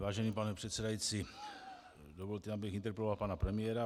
Vážený pane předsedající, dovolte, abych interpeloval pana premiéra.